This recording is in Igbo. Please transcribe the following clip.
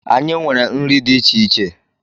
Anyị nwere nri dị iche iche.